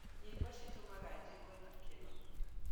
Nyĩmbo cĩtũmaga njigũe gĩkeno